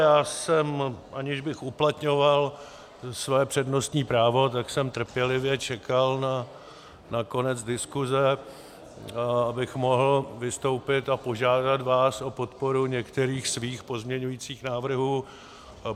Já jsem, aniž bych uplatňoval své přednostní právo, tak jsem trpělivě čekal na konec diskuse, abych mohl vystoupit a požádat vás o podporu některých svých pozměňovacích návrhů.